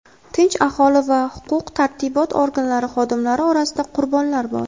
tinch aholi va huquq-tartibot organlari xodimlari orasida qurbonlar bor.